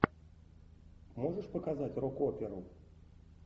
можешь показать рок оперу